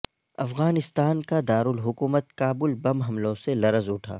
افغانستان کا دارالحکومت کابل بم حملوں سے لرز اٹھا